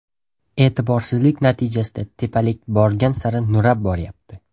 E’tiborsizlik natijasida tepalik borgan sari nurab boryapti.